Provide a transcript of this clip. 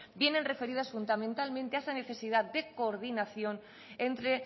vienen referidas fundamentalmente a esa necesidad de coordinación entre